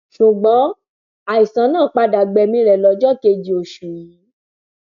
ṣùgbọn àìsàn náà padà gbẹmí rẹ lọjọ kejì oṣù yìí